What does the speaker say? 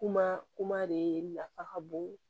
Kuma kuma de nafa ka bon